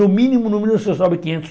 No mínimo, no mínimo, você sobe quinhentos